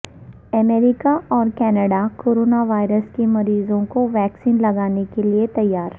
امریکہ اور Canada corona virus کے مریضوں کو ویکسین لگانے کے لیے تیار